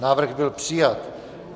Návrh byl přijat.